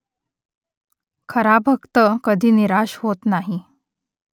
खरा भक्त कधी निराश होत नाही